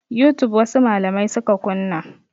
Youtube wasu malamai suka kunna.